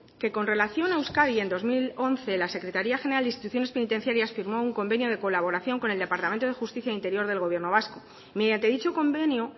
que con relación a euskadi en dos mil once la secretaría general de instituciones penitenciarias firmó un convenio de colaboración con el departamento de justicia e interior del gobierno vasco mediante dicho convenio